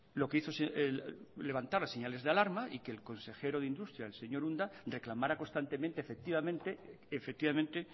lo que hizo levantaba señales de alarma y que el consejero de industria el señor unda reclamará constantemente